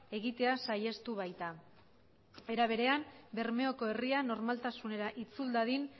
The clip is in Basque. egitea saihestu baita era berean bermeoko herria normaltasunera itzul dadin